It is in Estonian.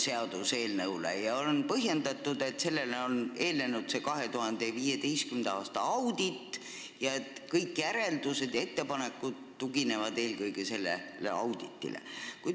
Seda on põhjendatud nii, et sellele eelnes 2015. aasta audit ning kõik järeldused ja ettepanekud tuginevad eelkõige sellele auditile.